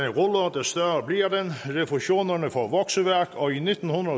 refusionerne får vokseværk og i nitten